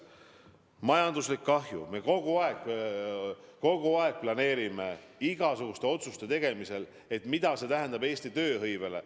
Majanduslik kahju – me kogu aeg arvestame igasuguste otsuste tegemisel, mida see tähendab Eesti tööhõivele.